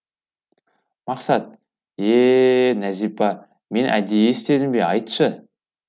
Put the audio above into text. мақсат ее нәзипа мен әдейі істедім бе айтшы